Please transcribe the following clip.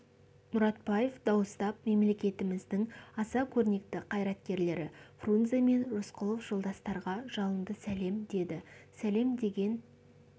мұратбаев дауыстап мемлекетіміздің аса көрнекті қайраткерлері фрунзе мен рысқұлов жолдастарға жалынды сәлем деді сәлем деген